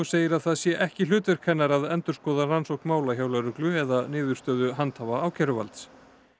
segir að það sé ekki hlutverk hennar að endurskoða rannsókn mála hjá lögreglu eða niðurstöðu handhafa ákæruvalds